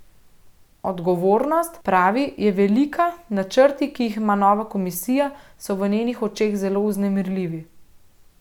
Odgovornost, pravi, je velika, načrti, ki jih ima nova komisija, so v njenih očeh zelo vznemirljivi.